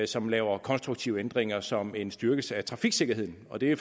som laver konstruktive ændringer som en styrkelse af trafiksikkerheden og det er